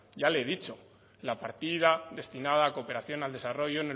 ya le he dicho la partida destinada a cooperación al desarrollo